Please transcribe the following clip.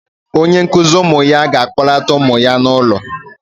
Onye nkụzi ụmụ ya ga-akpọlata ụmụ ya n'ụlọ